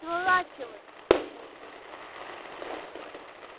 сворачивай кричал тот